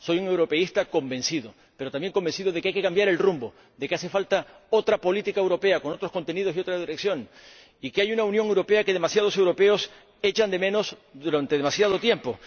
Soy un europeísta convencido, pero también convencido de que hay que cambiar el rumbo, de que hace falta otra política europea, con otros contenidos y otra dirección, y de que hay una Unión Europea que demasiados europeos echan de menos durante demasiado tiempo.